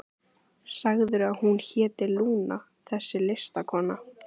Sagðirðu að hún héti Lúna, þessi listakona?